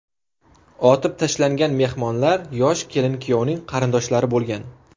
Otib tashlangan mehmonlar yosh kelin-kuyovning qarindoshlari bo‘lgan.